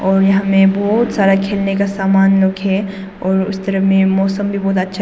और यहां में बहुत सारा खेलने का समान लोग है और उस तरफ में मौसम भी बहुत अच्छा है।